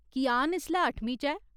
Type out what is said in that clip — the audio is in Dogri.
कियान इसलै अठमीं च ऐ